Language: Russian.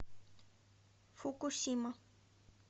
фукусима